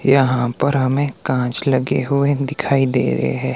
यहां पर हमे कांच लगे हुए दिखाई दे रहे हैं।